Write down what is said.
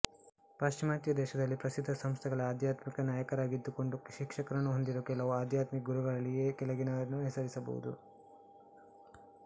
ಪಾಶ್ಚಿಮಾತ್ಯ ದೇಶದಲ್ಲಿ ಪ್ರಸಿದ್ಧ ಸಂಸ್ಥೆಗಳ ಆಧ್ಯಾತ್ಮಿಕ ನಾಯಕರಾಗಿದ್ದುಕೊಂಡು ಶಿಷ್ಯರನ್ನು ಹೊಂದಿರುವ ಕೆಲವು ಆಧ್ಯಾತ್ಮಿಕ ಗುರುಗಳಲ್ಲಿ ಈ ಕೆಳಗಿನವರನ್ನು ಹೆಸರಿಸಬಹುದು